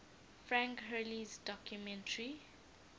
frank hurley's documentary